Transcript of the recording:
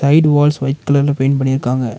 Eight walls white கலர்ல paint பண்ணிருக்காங்க.